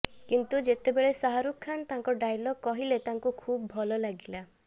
କିନ୍ତୁ ଯେତେବେଳେ ଶାହାରୁଖ ଖାନ୍ ତାଙ୍କ ଡାଇଲଗ୍ କହିଲେ ତାଙ୍କୁ ଖୁବ୍ ଭଲ ଲାଗିଲା